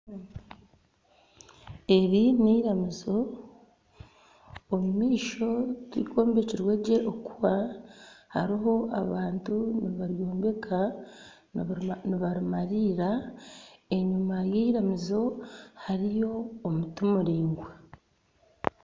Eri n'eiramizo omu maisho tirikombekirwe gye okuhwa. Hariho abantu nibaryombeka nibarimariira. Enyima y'eiramizo hariyo omuti muraingwa.